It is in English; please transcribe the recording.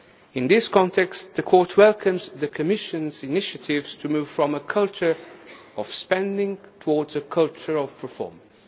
In this context, the Court welcomes Commission initiatives to move from a culture of spending towards a culture of performance.